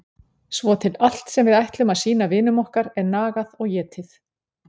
Svo til allt sem við ætlum að sýna vinum okkar er nagað og étið.